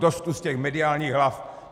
Dost už těch mediálních hlav.